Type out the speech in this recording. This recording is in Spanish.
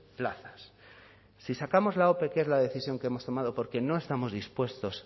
plazas si sacamos la ope que es la decisión que hemos tomado porque no estamos dispuestos